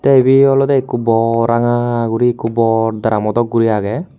Te ebe olode ekko bor ranga gori ekko bor drumo dok gori agey.